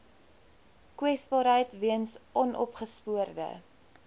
kwesbaarheid weens onopgespoorde